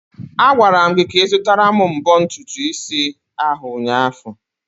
Agwara m gị ka ị zụtara m mbọ ntutu isi ahụ ụnyaahụ!